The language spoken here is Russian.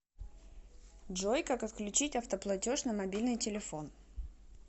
джой как отключить автоплатеж на мобильный телефон